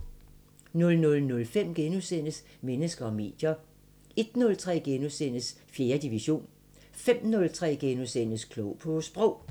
00:05: Mennesker og medier * 01:03: 4. division * 05:03: Klog på Sprog *